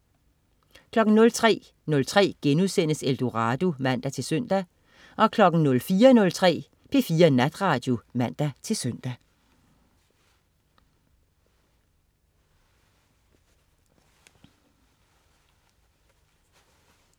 03.03 Eldorado* (man-søn) 04.03 P4 Natradio (man-søn)